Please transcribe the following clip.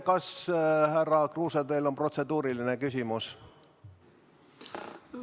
Kas, härra Kruuse, teil on protseduuriline küsimus?